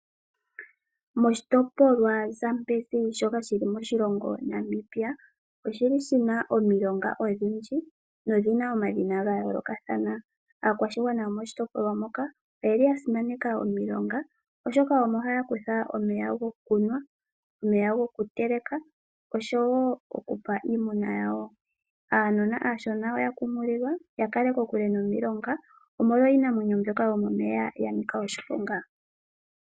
Moshitopolwa Zambezi shoka shili moshilongo Namibia omuna omilonga odhindji nodhina omadhina gayoolokathana. Aakwashigwana yomoshitopolwa shoka oyasimaneka omilonga oshoka omo haya kutha omeya gokunwa, goku teleka osho wo okupa iimuna yawo. Uunona ohawu kunkililwa wu kale kokule nomilonga omolwa iinamwenyo yomomeya mbyoka ya nika oshiponga.